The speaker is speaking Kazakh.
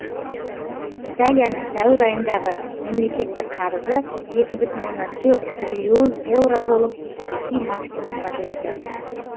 италияның сәуір айындағы мемлекеттік қарызы екі бүтін оннан төрт триллион еуро болып тарихи максимумға жетті